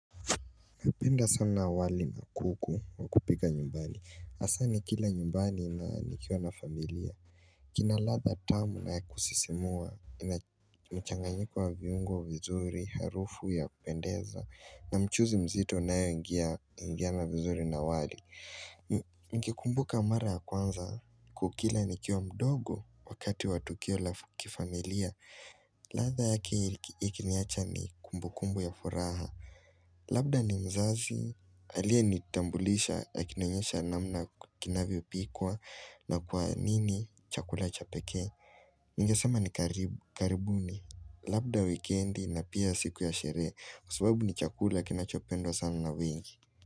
Napenda sana wali na kuku wa kupika nyumbani. Hasa nikila nyumbani na nikiwa na familia. Kina ladha tamu na ya kusisimua. Mchanganyiko wa viungo vizuri, harufu ya kupendeza. Na mchuzi mzito unaoingia na vizuri na wali. Nikikumbuka mara ya kwanza kukila nikiwa mdogo wakati wa tukio la kifamilia. Ladha yakiniacha ni kumbukumbu ya furaha. Labda ni mzazi, aliyenitambulisha akinionyesha namna kinavyopikuwa na kwa nini chakula cha pekee ningesema ni karibuni, labda wikendi na pia siku ya sherehe, kwa sababu ni chakula kinachopendwa sana na wengi.